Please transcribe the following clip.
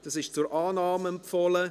Es ist zur Annahme empfohlen.